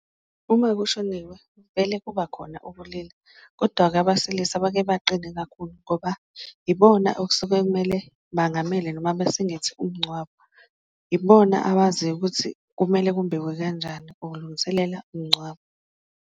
Uma kushoniwe vele kuba khona ubulili kodwa-ke abasilisa bake baqine kakhulu ngoba ibona okusuke kumele bangamele noma besingethe umngcwabo, ibona abaziyo ukuthi kumele kumbiwe kanjani ukulungiselela umngcwabo.